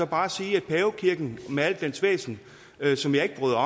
bare sige at pavekirken med al dens væsen som jeg ikke bryder